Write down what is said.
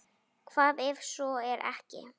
Hvað ef svo er ekki?